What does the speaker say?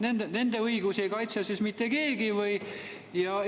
Kas nende õigusi ei kaitse siis mitte keegi või?